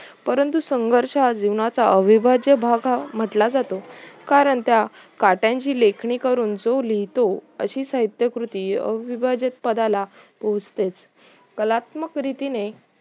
परंतु संघर्ष जीवनाचा अविभाज्य भाग म्हटला जातो कारण त्या कात्याची लेखणी करून जो लिहतो अशी साहित्यकृती अविभाज्य पदाला बोचते कलात्मक रितीने